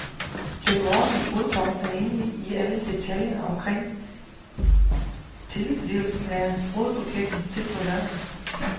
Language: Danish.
Den vordende brudgom, er inde i alle detaljer omkring tilblivelsen af brudebuketten til på lørdag.